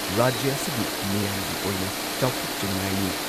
ꯔꯥꯖ꯭ꯌ ꯑꯁꯤꯒꯤ ꯃꯤꯌꯥꯝꯒꯤ ꯑꯣꯏꯅ ꯆꯥꯎꯊꯣꯛꯆꯅꯤꯉꯥꯏꯅꯤ ꯫